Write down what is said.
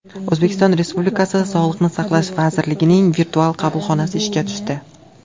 O‘zbekiston Respublikasi Sog‘liqni saqlash vazirining virtual qabulxonasi ishga tushdi.